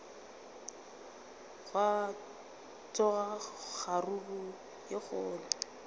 gwa tsoga kgaruru ye kgolo